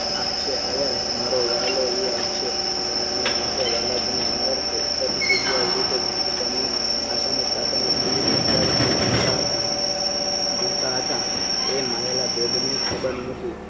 આપશે આયર મારો વાલો એ આપશે આપણે માટે વાલાજીને મેર છે એક જ જગ્યા એ આશા ના તાતણે જીવિત અગરીને જીવતા હતા જીવતા હતા એ માયેલા બેગ ની કદર નોતી